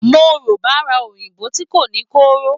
Mo ro bara oyinbo ti ko ni koro.